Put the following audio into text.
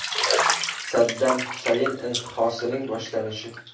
Saddam Husayn intihosining boshlanishi.